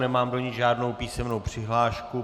Nemám do ní žádnou písemnou přihlášku.